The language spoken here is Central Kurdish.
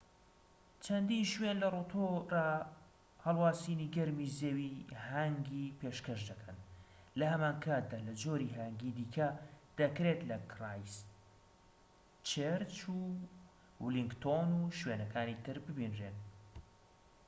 چەندین شوێن لە ڕۆتۆرا هەڵواسینی گەرمی زەوی هانگی پێشکەش دەکەن لە هەمان کاتدا لە جۆری هانگی دیکە دەکرێت لە کرایستچێرچ و ولینگتۆن و شوێنەکانی تر ببینرێن